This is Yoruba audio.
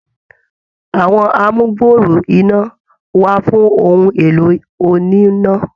Àwọn amugbooro iná wà fún ohun èlò oníná.